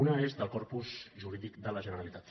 una és del corpus jurídic de la generalitat